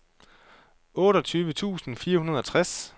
otteogtyve tusind fire hundrede og tres